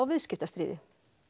viðskiptastríði